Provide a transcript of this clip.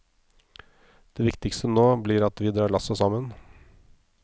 Det viktigste nå blir at vi drar lasset sammen.